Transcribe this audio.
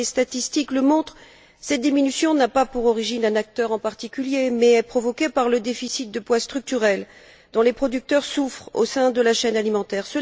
Comme les statistiques le montrent, cette diminution ne tire pas son origine d'un acteur en particulier, mais elle est provoquée par le déficit de poids structurel dont les producteurs souffrent au sein de la chaîne alimentaire.